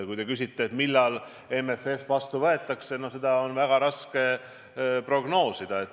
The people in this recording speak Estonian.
Kui te küsite, millal MFF vastu võetakse, siis seda on väga raske prognoosida.